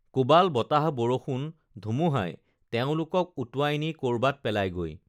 কোবাল বতাহ বৰষুণ ধুমুহাই তেওঁলোকক উটুৱাই নি কৰবাত পেলায়গৈ